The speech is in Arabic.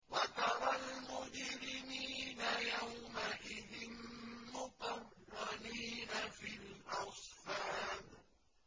وَتَرَى الْمُجْرِمِينَ يَوْمَئِذٍ مُّقَرَّنِينَ فِي الْأَصْفَادِ